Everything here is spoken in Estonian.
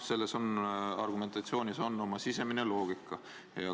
Selles argumentatsioonis on oma sisemine loogika.